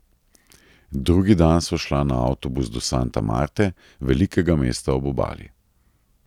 Drugi dan sva šla na avtobus do Santa Marte, velikega mesta ob obali.